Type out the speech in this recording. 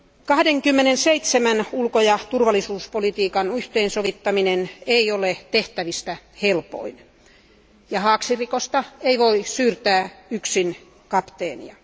27 ulko ja turvallisuuspolitiikan yhteensovittaminen ei ole tehtävistä helpoin ja haaksirikosta ei voi syyttää yksin kapteenia.